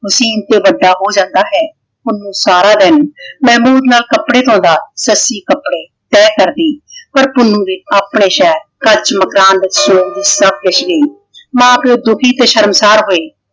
ਤੋਂ ਵੱਡਾ ਹੋ ਜਾਂਦਾ ਹੈ। ਪੁੰਨੂੰ ਸਾਰਾ ਦਿਨ ਮਹਿਮੂਦ ਨਾਲ ਕੱਪੜੇ ਧੋਂਦਾ। ਸੱਸੀ ਕੱਪੜੇ ਤਹਿ ਕਰਦੀ ਪਰ ਪੁੰਨੂੰ ਵੀ ਆਪਣੇ ਸ਼ਹਿਰ ਕੱਚ ਮਕਾਨ ਵਿੱਚ ਮਾਂ ਪਿਓ ਦੁੱਖੀ ਤੇ ਸ਼ਰਮਸਾਰ ਹੋਏ।